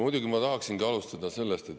Muidugi ma tahaksin alustada sellest …